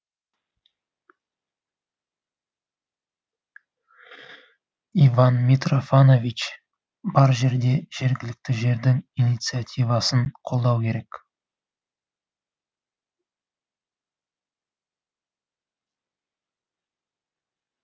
иван митрофанович бар жерде жергілікті жердің инициативасын қолдау керек